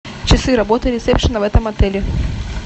часы работы ресепшена в этом отеле